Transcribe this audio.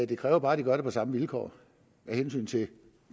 det kræver bare at de gør det på samme vilkår af hensyn til